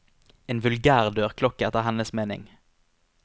En vulgær dørklokke, etter hennes mening.